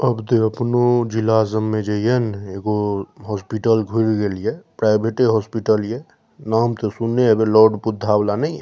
अब द अपनों जिला समझ जइयो न एगो हॉस्पिटल खुल गएलो प्राइवेट हॉस्पिटल हिए नाम तो सुने लॉर्ड बुद्धा वाला निए --